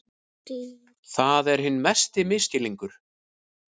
Það er hinn mesti misskilningur.